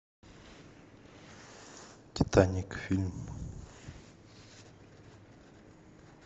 титаник фильм